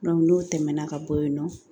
n'o tɛmɛna ka bɔ yen nɔ